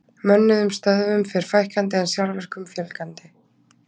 Mönnuðum stöðvum fer fækkandi en sjálfvirkum fjölgandi.